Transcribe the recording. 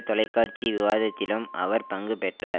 தொலைக்காட்சி விவாதத்திலும் அவர் பங்கு பெற்றார்